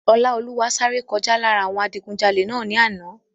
Ọláolúwa sáré kọjá lára àwọn adigunjalè náà ní àná